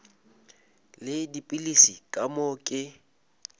le dipilisi ka moo ke